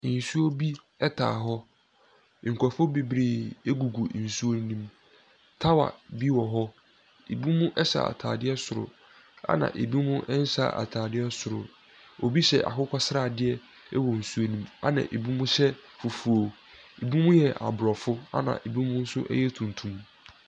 Nsuo bi ɛtaa hɔ, nkorofoɔ bebree ɛgu gu nsuo nom. Tawa bi wɔ hɔ, ɛbi mo ɛhyɛ ataadeɛ soro ɛna ɛbi mo nhyɛ ataadeɛ soro. Obi hyɛ akokɔsradeɛ ɛwɔ nsuo no mu ɛna ɛbi mo hyɛ fufuo, ɛbi mo yɛ abrofo ɛna ɛbi mo yɛ tuntum.